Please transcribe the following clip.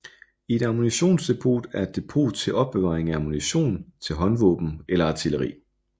Et ammunitionsdepot er et depot til opbevaring af ammunition til håndvåben eller artilleri